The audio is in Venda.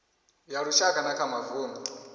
ya lushaka na kha mavundu